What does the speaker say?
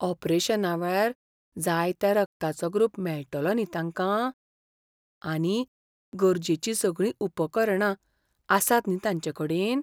ऑपरेशनावेळार जाय त्या रगताचो ग्रूप मेळटलो न्ही तांकां? आनी गरजेचीं सगळीं उपकरणां आसात न्ही तांचेकडेन?